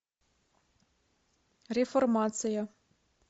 реформация